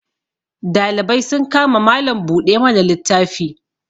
dalibai sun kama Malam buɗe mana littafi